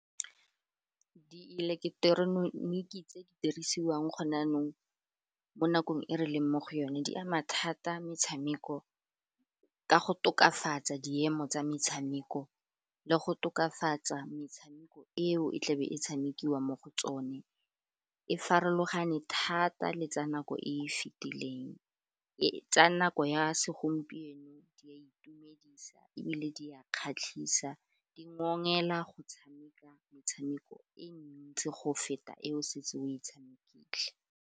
Di ileketeroniki tse di dirisiwang gone jaanong mo nakong e re leng mo go yone, di ama thata metshameko ka go tokafatsa diemo tsa metshameko le go tokafatsa metshameko eo e tla be e tshamekiwa mo go tsone, e farologane thata le tsa nako e e fitileng, tsa nako ya segompieno di a itumedisa ebile di a kgatlhisa, di ngokela go tshameka motshameko e ntsi go feta e o setse o e tshamekile.